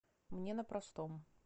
мне на простом